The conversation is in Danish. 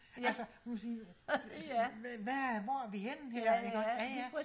altså man kan sige hvad hvor er vi henne ikke også